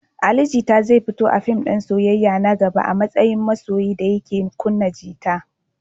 Ali Jita zai fito a fim din soyayya na gaba a matsayin masoyi da yake kunna gita.